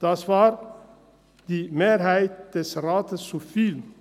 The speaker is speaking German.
Das war der Mehrheit des Rates zu viel.